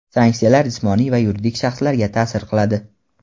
sanksiyalar jismoniy va yuridik shaxslarga ta’sir qiladi.